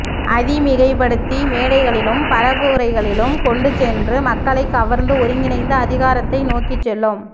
அதை மிகைப்படுத்தி மேடைகளிலும் பரப்புரைகளிலும் கொண்டு சென்று மக்களை கவர்ந்து ஒருங்கிணைத்து அதிகாரத்தை நோக்கிச் செல்லும்